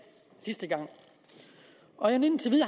sidste gang og indtil